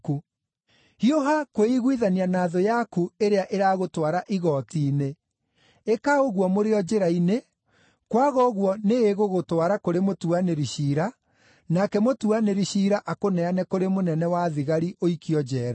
“Hiũha kwĩiguithania na thũ yaku ĩrĩa ĩragũtwara igooti-inĩ. Ĩka ũguo mũrĩ o njĩra-inĩ, kwaga ũguo nĩĩgũgũtwara kũrĩ mũtuanĩri-ciira, nake mũtuanĩri-ciira akũneane kũrĩ mũnene wa thigari, ũikio njeera.